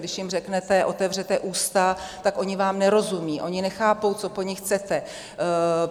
Když jim řeknete "otevřete ústa", tak oni vám nerozumějí, oni nechápou, co po nich chcete.